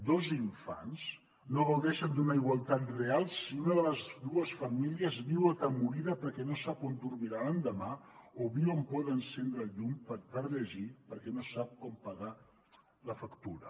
dos infants no gaudeixen d’una igualtat real si una de les dues famílies viu atemorida perquè no sap on dormirà l’endemà o viu amb por d’encendre el llum per llegir perquè no sap com pagar la factura